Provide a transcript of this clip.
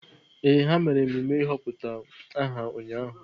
Ee, ha mere emume ịhọpụta aha ụnyahụ